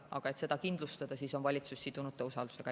Et seda siiski kindlustada, on valitsus sidunud selle usaldusega.